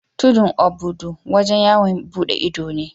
Tudun obudu wajen yawon bude ido ne.